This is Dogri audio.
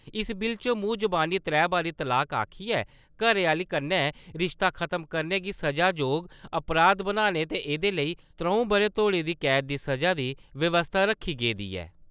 इस बिल च मूंह जबानी त्रै बारी 'तलाक' आक्खिये घरै आह्‌ली कन्नै रिश्ता खत्म करने गी सजा जोग अपराध बनाने ते एह्दे लेई त्र`ऊं ब'रें तोड़ी दी कैद दी सजा दी व्यवस्था रक्खी गेदी ऐ।